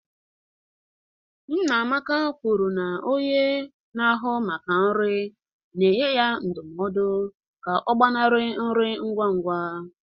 Nnamaka kwuru na onye na-ahụ maka nri na-enye ya ndụmọdụ ka ọ gbanarị nri ngwa ngwa.